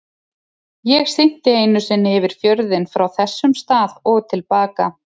Ég synti einu sinni yfir fjörðinn frá þessum stað og til baka.